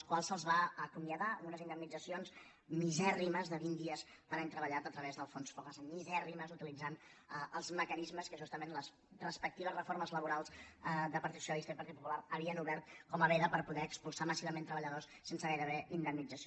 que se’ls va acomiadar amb unes indemnitzacions misèrrimes de vint dies per any treballat a través del fogasa misèrrimes utilitzant els mecanismes que justament les respectives reformes laborals de partit socialista i partit popular havien obert com a veda per poder expulsar massivament treballadors sense gairebé indemnització